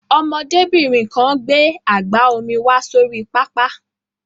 Ọmọdébìnrin kan gbé àgbá omi wá sórí pápá.